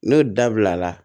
N'o dabila